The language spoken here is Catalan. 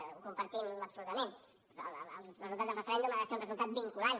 ho compartim absolutament el resultat del referèndum ha de ser un resultat vinculant